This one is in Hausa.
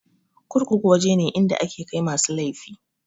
Kurkuku waje ne inda ake kai masu laifi.